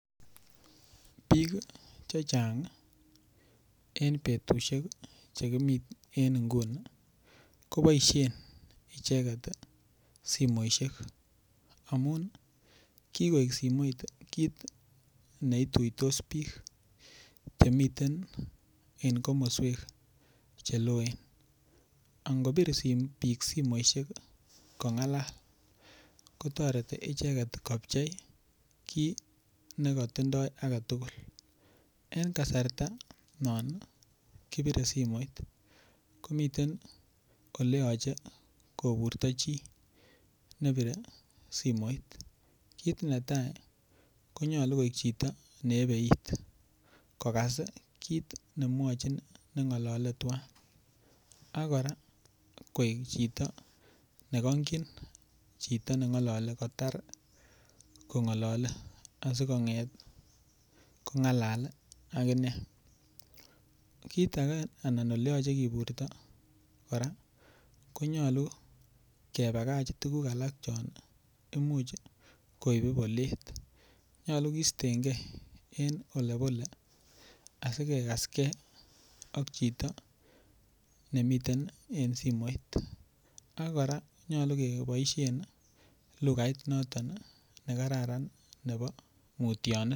Bik Che Chang en betusiek Che kimi en nguni ko boisien icheget simoisiek amun kigoik simoit kit ne ituitos bik chemiten en komoswek Che loen angobir bik simoit kongalal kotoreti icheget kopchei kii ne kotindoi age tugul en kasarta non kibire simoit ko miten Ole yoche koburto chi nebire simoit kit netai ko nyolu koik chito ne yebe it kogas kit ne mwochin nengolole twan ak kora koik chito ne kongkyin chito ne ngolole kotar kongolole asi konget kongalal aginee kit age anan Ole yoche kiburto kora konyolu kebakach tuguk alak chon Imuch koibu bolet nyolu kisten ge en Ole bole asi kegas ge ak chito nemiten en simoit ak kora nyolu keboisien lugait noton nekaran noton nebo mutyanet